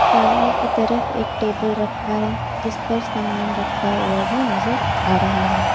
सामने की तरफ एक टेबल रखा है जिस पर सामान रखा हुआ भी नजर आ रहा है।